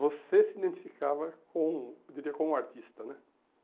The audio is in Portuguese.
Você se identificava com um, eu diria, com o artista né.